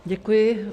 Děkuji.